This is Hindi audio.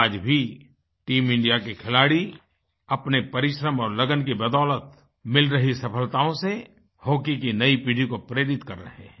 आज भी टीम इंडिया के खिलाड़ी अपने परिश्रम और लगन की बदौलत मिल रही सफलताओं से हॉकी की नई पीढ़ी को प्रेरित कर रहे हैं